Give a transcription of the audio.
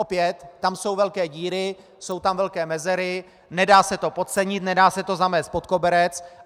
Opět tam jsou velké díry, jsou tam velké mezery, nedá se to podcenit, nedá se to zamést pod koberec.